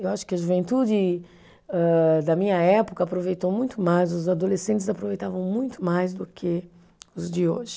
Eu acho que a juventude âh, da minha época aproveitou muito mais, os adolescentes aproveitavam muito mais do que os de hoje.